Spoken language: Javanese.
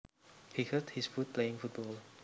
He hurt his foot playing football